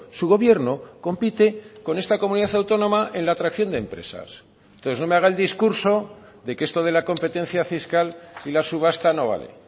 su gobierno compite con esta comunidad autónoma en la atracción de empresas entonces no me haga el discurso de que esto de la competencia fiscal y la subasta no vale